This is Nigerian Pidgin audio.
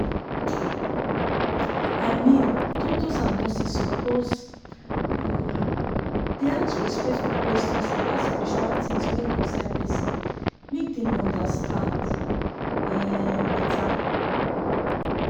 i mean doctors and nurses suppose um dey ask respectful questions about spiritual tins wey concern person make dem understand um better.